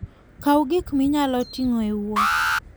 Kaw gik minyalo ting'o e wuoth.